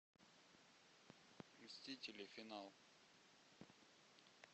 мстители финал